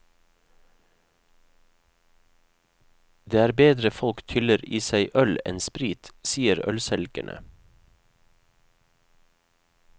Det er bedre folk tyller i seg øl enn sprit, sier ølselgerne.